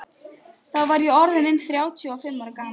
Þá var ég orð inn þrjátíu og fimm ára gamall.